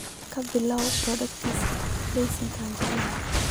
ka bilow podcast liiska aan jeclahay